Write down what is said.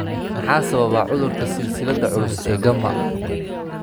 Maxaa sababa cudurka silsiladda culus ee gamma?